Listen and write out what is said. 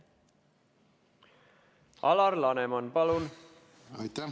Alar Laneman, palun!